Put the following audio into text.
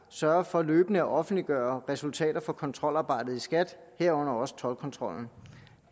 sørger for løbende at offentliggøre resultater fra kontrolarbejdet i skat herunder også toldkontrollen